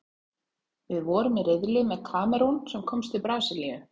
Við vorum í riðli með Kamerún, sem komst til Brasilíu.